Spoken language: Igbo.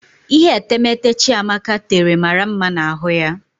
Ihe etemeete Chiamaka tere mara mma na ahụ ya.